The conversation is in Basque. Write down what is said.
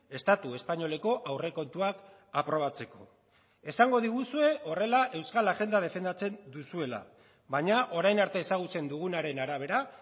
estatu espainoleko aurrekontuak aprobatzeko esango diguzue horrela euskal agenda defendatzen duzuela baina orain arte ezagutzen dugunaren arabera